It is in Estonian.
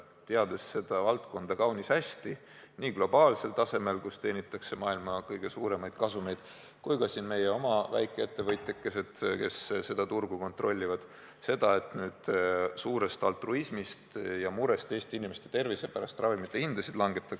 Teades seda valdkonda kaunis hästi – nii globaalsel tasemel, kus teenitakse maailma kõige suuremaid kasumeid, kui ka siin meie oma väikeettevõtjakesi, kes seda turgu kontrollivad – suurest altruismist ja murest Eesti inimeste tervise pärast ravimihindasid ei langetata.